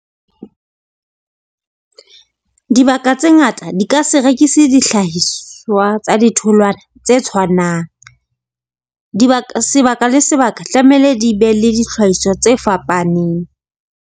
Dibaka tse ngata di ka se rekise dihlahiswa tsa ditholwana, tse tshwanang, sebaka le sebaka tlamehile di be le dihlahiswa tse fapaneng.